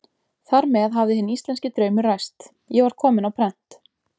Þar með hafði hinn íslenski draumur ræst: ég var kominn á prent.